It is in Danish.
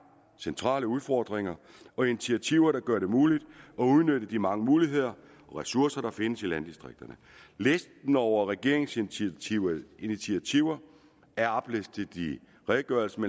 centrale udfordringer og initiativer der gør det muligt at udnytte de mange muligheder og ressourcer der findes i landdistrikterne listen over regeringens initiativer initiativer er oplistet i redegørelsen